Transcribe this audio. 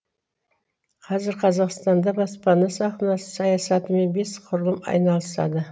қазір қазақстанда баспана саясатымен бес құрылым айналысады